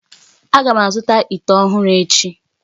Aga m azụta ite ọhụrụ echi